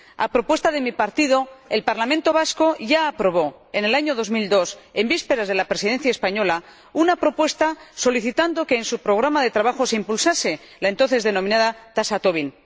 A propuesta de mi partido, el Parlamento vasco ya aprobó, en el año 2002, en vísperas de la Presidencia española, una propuesta solicitando que en su programa de trabajo se impulsase la entonces denominada tasa Tobin.